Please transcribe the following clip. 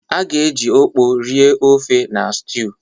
A ga-eji Okpor rie ofe na stew.